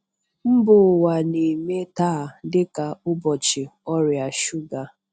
Mba ụwa na-eme taa dị ka ụbọchị ọrịa shuga.